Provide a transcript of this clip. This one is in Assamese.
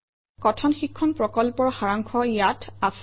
কথন শিক্ষণ প্ৰকল্পৰ সাৰাংশ ইয়াত আছে